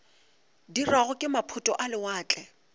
dirwago ke maphoto a lewatle